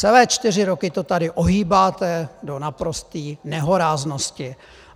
Celé čtyři roky to tady ohýbáte do naprosté nehoráznosti.